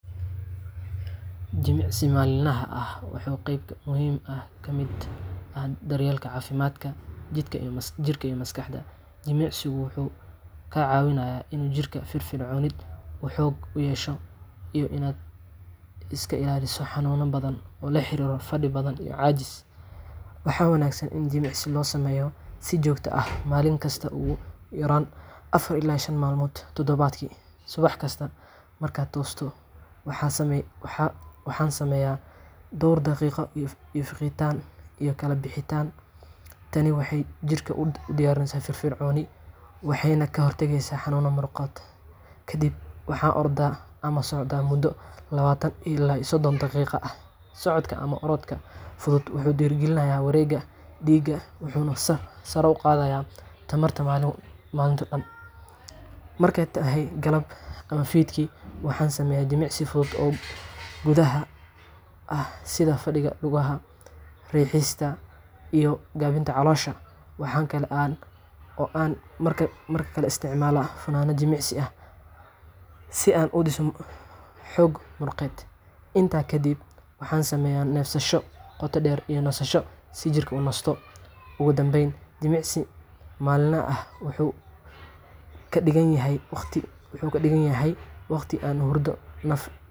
Jimicsiga maalinlaha ah waa qayb muhiim ah oo ka mid ah daryeelka caafimaadka jidhka iyo maskaxda. Jimicsigu wuxuu kaa caawinayaa in jidhkaagu firfircoonaado, uu xoog yeesho, iyo in aad iska ilaaliso xanuuno badan oo la xiriira fadhi badan iyo caajis. Waxaa wanaagsan in jimicsiga loo sameeyo si joogto ah, maalin kasta ama ugu yaraan afar ila shan maalmood toddobaadkii. Subax kasta, marka aan tooso, waxaan sameeyaa dhawr daqiiqo oo fiiqitaan iyo kala bixid ah . Tani waxay jidhka u diyaarsaa firfircoonaan waxayna ka hortagtaa xanuunka muruqyada. Kadibna, waxaan ordaa ama socdaa muddo labatan ilaa sodon daqiiqo ah. Socodka ama orodka fudud wuxuu dhiirrigeliyaa wareegga dhiigga wuxuuna sare u qaadaa tamarta maalinta oo dhan. Marka ay tahay galab ama fiidkii, waxaan sameeyaa jimicsiyo fudud oo gudaha ah sida fadhiga lugaha , Ugu dambayn, jimicsiga maalinlaha ah wuxuu ka dhigan yahay waqti aan u huray nafayda iyo caafimaadkayga. Wuxuu hagaajiyaa hurdadayda, niyadayda, riixista jidhka , iyo gaabinta caloosha Waxa kale oo aan mararka qaar isticmaalaa funaan jimicsi ama si aan u dhiso xoog muruqeed. Intaas kaddib, waxaan sameeyaa neefsasho qoto dheer iyo nasasho si jidhka u nasto una bogsado. Ugu dambayn, jimicsiga maalinlaha ah wuxuu ka dhigan yahay waqti aan u huray nafayda iyo caafimaadkayga. Wuxuu hagaajiyaa hurdadayda, niyadayda,